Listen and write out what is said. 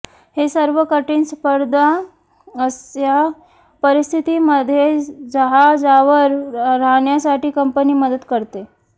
हे सर्व कठीण स्पर्धा असह्य परिस्थितीमध्ये जहाजावर राहण्यासाठी कंपनी मदत करते